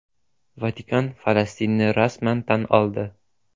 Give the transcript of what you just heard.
Vatikan Falastinni rasman tan oldi.